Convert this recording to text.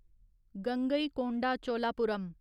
Gangaikonda Cholapuram